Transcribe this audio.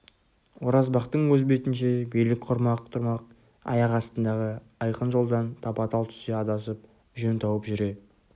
оразбақтың өз бетінше билік құрмақ тұрмақ аяқ астындағы айқын жолдан тапа-тал түсте адасып жөн тауып жүре